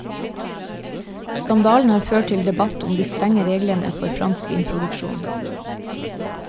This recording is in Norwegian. Skandalen har ført til debatt om de strenge reglene for fransk vinproduksjon.